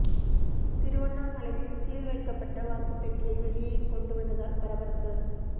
திருவண்ணாமலையில் சீல் வைக்கப்பட்ட வாக்குப் பெட்டியை வெளியே கொண்டு வந்ததால் பரபரப்பு